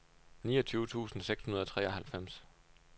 niogtyve tusind seks hundrede og treoghalvfems